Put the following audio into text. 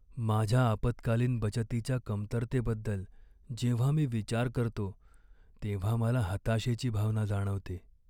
माझ्या आपत्कालीन बचतीच्या कमतरतेबद्दल जेव्हा मी विचार करतो, तेव्हा मला हताशेची भावना जाणवते.